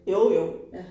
Jo jo